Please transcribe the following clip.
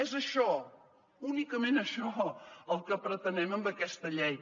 és això únicament això el que pretenem amb aquesta llei